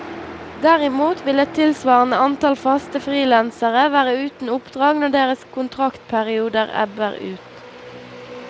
Derimot vil et tilsvarende antall faste frilansere være uten oppdrag når deres kontraktperioder ebber ut.